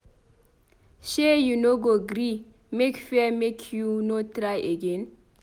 Shee you no go gree make fear make you no try again.